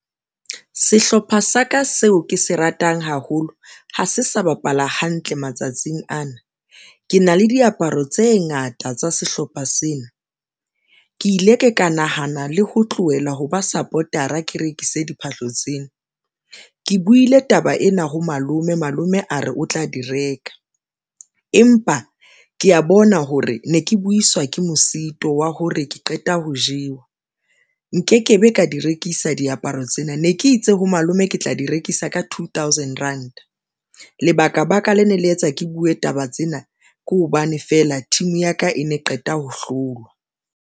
Sehlopha sa ka seo ke se ratang haholo ha se sa bapala hantle matsatsing ana ke na le diaparo tse ngata tsa sehlopha sena, ke ile ka ka nahana le ho tlohela ho ba Support-ra ke rekise diphahlo tsena. Ke buile taba ena ha malome malome a re o tla di reka, empa ke ya bona hore ne ke buiswa ke mosito wa hore ke qeta ho jewa nkekebe ka ka di rekisa diaparo tsena ne ke itse ha malome ke tla di rekisa ka two thousand rand. Lebaka baka le ne le etsa ke buwe taba tsena ke hobane feela team ya ka e ne qeta ho hlolwa.